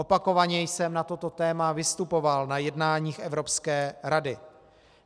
Opakovaně jsem na toto téma vystupoval na jednáních Evropské rady.